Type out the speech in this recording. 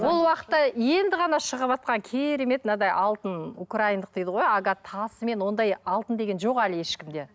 ол уақытта енді ғана шығыватқан керемет мынадай алтын украиндық дейді ғой агат тасымен ондай алтын деген жоқ әлі ешкімде